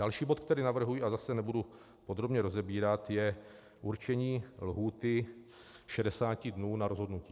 Další bod, který navrhuji, ale zase nebudu podrobně rozebírat, je určení lhůty 60 dnů na rozhodnutí.